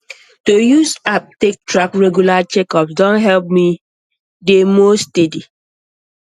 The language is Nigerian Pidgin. to use app take track regular checkups don help me dey more steady